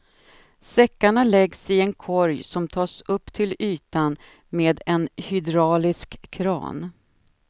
Säckarna läggs i en korg som tas upp till ytan med en hydraulisk kran.